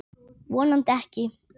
Horfi niður á fætur mína.